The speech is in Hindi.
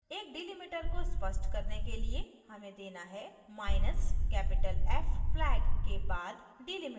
एक delimiter को स्पष्ट करने के लिए हमें देना है माइनसcapital f flag के बाद delimiter